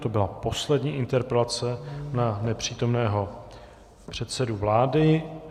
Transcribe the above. To byla poslední interpelace na nepřítomného předsedu vlády.